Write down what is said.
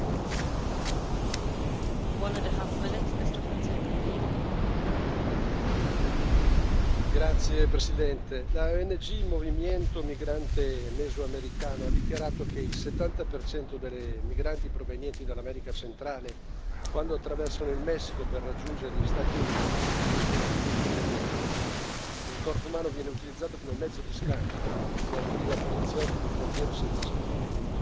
Signora Presidente, onorevoli colleghi, la ONG Movimiento Migrante Mesoamericano ha dichiarato che il 70 dei migranti provenienti dall'America centrale, quando attraversano il Messico per raggiungere gli Stati Uniti, subiscono stupri e violenze. Il corpo umano viene utilizzato come mezzo di scambio da offrire a poliziotti di frontiera senza scrupoli.